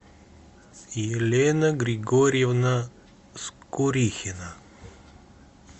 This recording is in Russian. елена григорьевна скурихина